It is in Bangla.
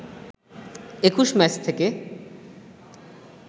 ২১ ম্যাচ থেকে